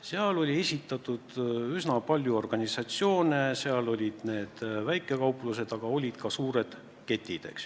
Seal oli esindatud üsna palju asjaosalisi, sh nii väikekauplused kui ka suured ketid.